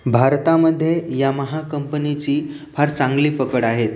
भारता मध्ये यमहा कंपनीची फार चांगली पकड आहे.